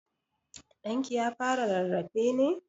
Ɗan ki ya fara rarrafe ne?